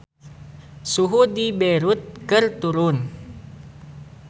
Suhu di Beirut keur turun